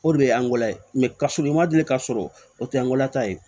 O de ye angla ye kasɔrɔ i ma deli ka sɔrɔ o tɛ anglata ye